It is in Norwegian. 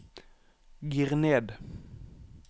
gir ned